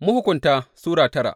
Mahukunta Sura tara